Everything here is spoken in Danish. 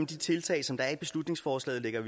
de tiltag som der er i beslutningsforslaget lægger